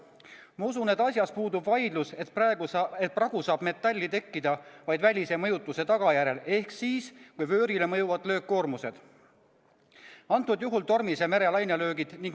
Ma usun, et asjas puudub vaidlus, et pragu saab metalli tekkida vaid välise mõjutuse tagajärjel ehk siis, kui vöörile mõjuvad löökkoormused, antud juhul tormise mere lainelöögid.